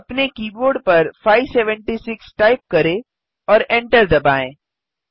अपने कीबोर्ड पर 576 टाइप करें और एन्टर दबाएँ